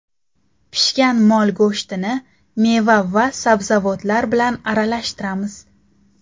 Pishgan mol go‘shtini meva va sabzavotlar bilan aralashtiramiz.